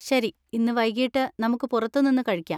ശരി, ഇന്ന് വൈകിട്ട് നമുക്ക് പുറത്തു നിന്ന് കഴിക്കാം.